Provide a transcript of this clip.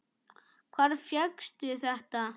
Hvar fékkstu þetta?